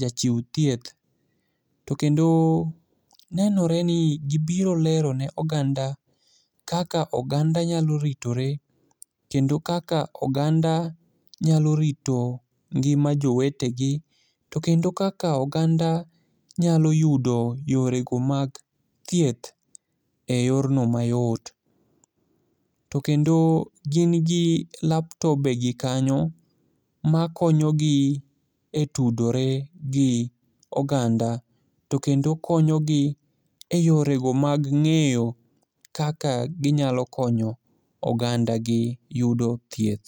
jachiw thieth, to kendo nenore ni gibiro lero ne oganda kaka oganda nyalo ritore kendo kaka oganda nyalo rito ngima jowetegi, to kendo kaka oganda nyalo yudo yorego mag thieth e yorno mayot, to kendo gin gi laptope gi kanyo makonyogi e tudore gi oganda to kendo konyogi e yorego mag ng'eyo kaka ginyalo konyo ogandagi yudo thieth.